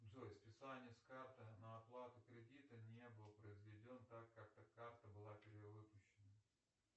джой списание с карты на оплату кредита не был произведен так как эта карта была перевыпущена